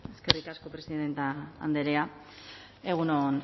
eskerrik asko presidente andrea